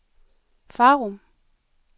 Farum